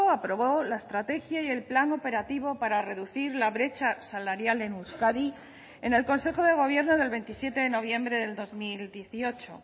aprobó la estrategia y el plan operativo para reducir la brecha salarial en euskadi en el consejo de gobierno del veintisiete de noviembre del dos mil dieciocho